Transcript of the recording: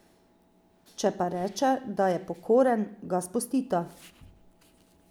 Če pa reče, da je pokoren, ga spustita.